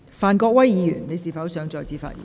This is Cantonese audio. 范國威議員，你是否想再次發言？